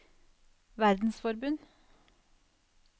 verdensforbund